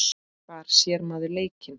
Hvar sér maður leikinn?